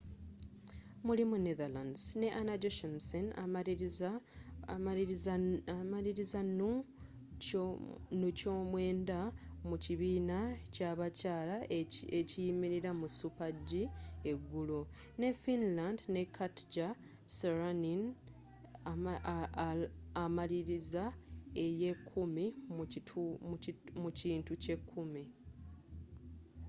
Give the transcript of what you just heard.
mulimu netherlands ne anna jochemsen amaliriza nu kyomwenda mu kibiina ky'abakyaala ekiyimilira mu super g eggulo ne finland ne katja sarineen amaliriza eyekumi mu kintu kyekimu